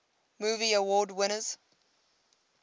movie award winners